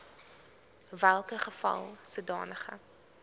welke geval sodanige